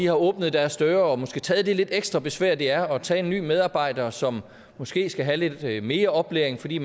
har åbnet deres døre og måske taget det lidt ekstra besvær det er at tage en ny medarbejder som måske skal have lidt mere oplæring fordi